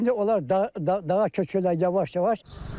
İndi onlar dağ dağ dağa köçürlər yavaş-yavaş.